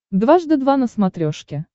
дважды два на смотрешке